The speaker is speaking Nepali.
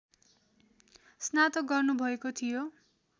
स्नातक गर्नुभएको थियो